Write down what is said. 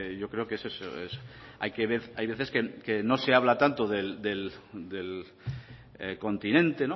yo creo que hay que ver hay veces que no se habla tanto del continente